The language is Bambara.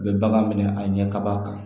U bɛ bagan minɛ a ɲɛ kaba kan